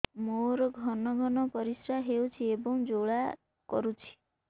ମୋର ଘନ ଘନ ପରିଶ୍ରା ହେଉଛି ଏବଂ ଜ୍ୱାଳା କରୁଛି